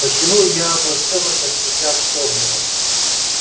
почему я обо всем этом сейчас вспомнила